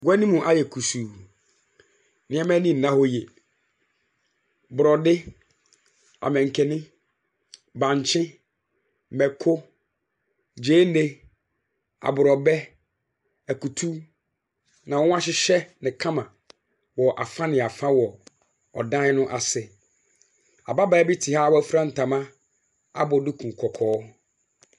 Gua ne mu ayɛ kusuu, nneɛma ani nna hɔ yie, borɔde, amanken, bankye, mako, gyeene, aborɔbɛ, akutu na wɔahyehyɛ no kama wɔ afa ne afa wɔ ɔdan no ase. Ababaawa bi te ha wɔafura ntama abɔ duku kɔkɔɔ.